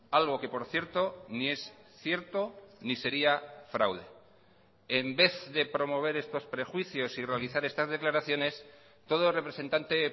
algo que por cierto ni es cierto ni seria fraude en vez de promover estos prejuicios y realizar estas declaraciones todo representante